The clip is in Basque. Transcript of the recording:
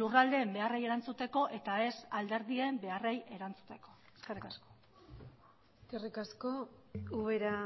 lurraldeen beharrei erantzuteko eta ez alderdien beharrei erantzuteko eskerrik asko eskerrik asko ubera